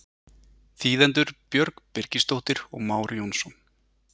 Þýðendur Björg Birgisdóttir og Már Jónsson.